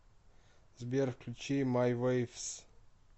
сбер включи май вейвс